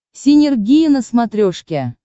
синергия на смотрешке